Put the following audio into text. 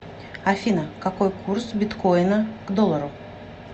афина какой курс биткоина к доллару